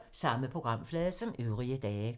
Samme programflade som øvrige dage